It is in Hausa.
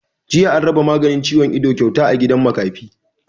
Jiya an raba maganin ciwon ido kyauta a gidan makafi